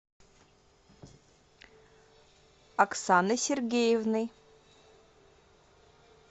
оксаной сергеевной